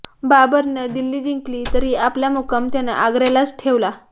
बाबरानं दिल्ली जिंकली तरी आपला मुक्काम त्यानं आग्र्यालाच ठेवला